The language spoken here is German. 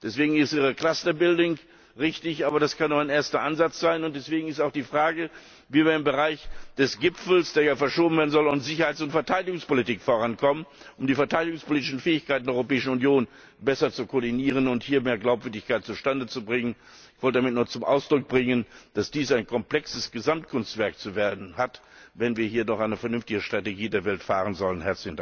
Deswegen ist Ihre Clusterbildung richtig, aber das kann nur ein erster Ansatz sein, und deswegen ist auch die Frage, wie wir im Bereich des Gipfels, der ja verschoben werden soll, und im Bereich der Sicherheits und Verteidigungspolitik vorankommen, um die verteidigungspolitischen Fähigkeiten der Europäischen Union besser zu koordinieren und hier mehr Glaubwürdigkeit zustande zu bringen. Ich wollte damit nur zum Ausdruck bringen, dass dies ein komplexes Gesamtkunstwerk zu werden hat, wenn wir hier doch eine vernünftige Strategie der Welt fahren sollen.